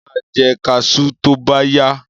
Mo máa jẹ kaṣú tóbáyá.